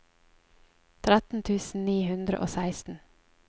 tretten tusen ni hundre og seksten